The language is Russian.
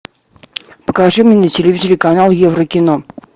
покажи мне на телевизоре канал еврокино